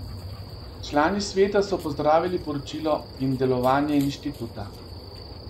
Člani sveta so pozdravili poročilo in delovanje inštituta.